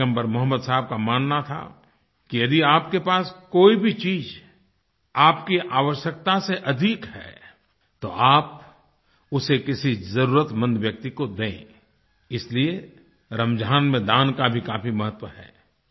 पैगम्बर मोहम्मद साहब का मानना था कि यदि आपके पास कोई भी चीज़ आपकी आवश्यकता से अधिक है तो आप उसे किसी ज़रूरतमंद व्यक्ति को दें इसीलिए रमज़ान में दान का भी काफी महत्व है